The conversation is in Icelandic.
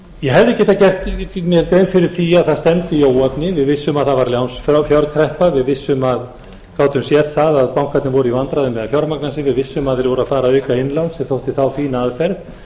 því að það stefndi í óefni við vissum að það var lánsfjárkreppa við gátum séð að bankarnir voru í vandræðum með að fjármagna sig við vissum að þeir voru að fara að auka innlán sem þótti þá fín aðferð